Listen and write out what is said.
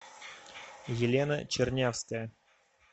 елена чернявская